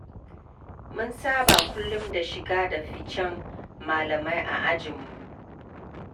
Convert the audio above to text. Mun saba kullum da shige da ficen malamai a ajinmu.